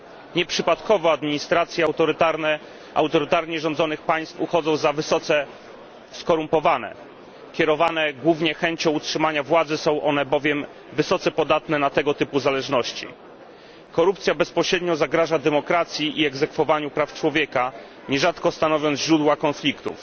Nieprzypadkowo administracje autorytarnie rządzonych państw uchodzą za wysoce skorumpowane, kierowane głównie chęcią utrzymania władzy są one bowiem wysoce podatne na tego typu zależności. Korupcja bezpośrednio zagraża demokracji i egzekwowaniu praw człowieka, nierzadko stanowiąc źródło konfliktów.